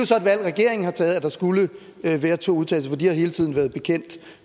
så et valg regeringen har taget altså at der skulle være to udtalelser for de har hele tiden være bekendt